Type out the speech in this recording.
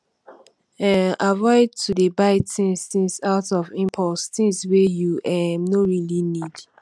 um avoid to dey buy things things out of impulse things wey you um no really need